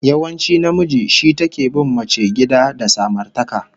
Yawanci namiji shi take bin mace gida da samartaka